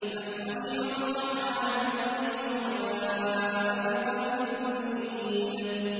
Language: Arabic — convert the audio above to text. مَّنْ خَشِيَ الرَّحْمَٰنَ بِالْغَيْبِ وَجَاءَ بِقَلْبٍ مُّنِيبٍ